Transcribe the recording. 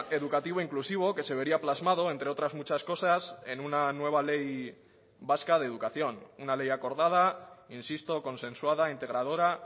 educativo inclusivo que se vería plasmado entre otras muchas cosas en una nueva ley vasca de educación una ley acordada insisto consensuada integradora